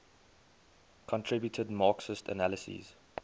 contributed marxist analyses